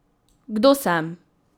Kdo sem?